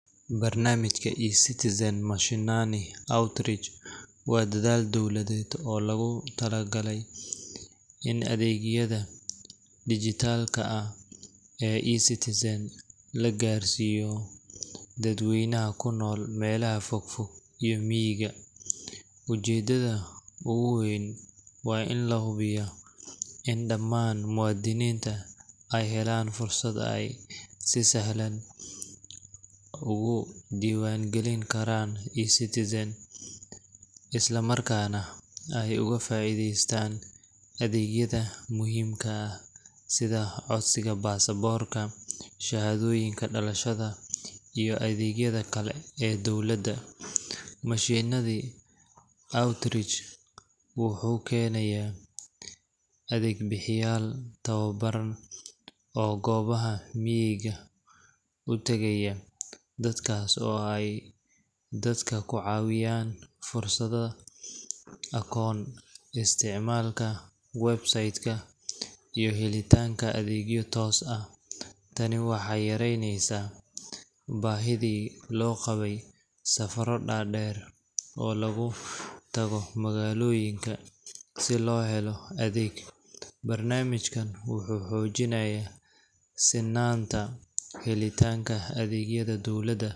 Barnaamijka eCitizen Mashinani Outreach waa dadaal dowladeed oo loogu talagalay in adeegyada dhijitaalka ah ee eCitizen la gaarsiiyo dadweynaha ku nool meelaha fogfog iyo miyiga. Ujeeddada ugu weyn waa in la hubiyo in dhammaan muwaadiniinta ay helaan fursad ay si sahal ah ugu diiwaangelin karaan eCitizen, isla markaana ay uga faa’iideystaan adeegyada muhiimka ah sida codsiga baasaboorka, shahaadooyinka dhalashada, iyo adeegyada kale ee dowladda. Mashinani Outreach wuxuu keenayaa adeeg-bixiyeyaal tababaran oo goobaha miyiga u tagaya, halkaas oo ay dadka ku caawinayaan furashada akoon, isticmaalka website-ka, iyo helitaanka adeegyo toos ah. Tani waxay yareyneysaa baahidii loo qabay safarro dhaadheer oo lagu tago magaalooyinka si loo helo adeeg. Barnaamijkan wuxuu xoojinayaa sinnaanta helitaanka adeegyada dowladda.